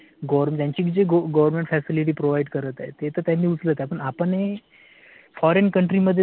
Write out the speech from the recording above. gover त्यांची जी government facilty provide करत आहे तर त्यांनी उचलत आहे पण आपण हि foreign मध्ये जाऊन आह.